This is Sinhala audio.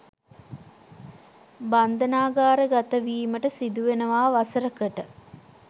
බන්ධනාගාරගතවීමට සිදුවෙනවා වසර කට.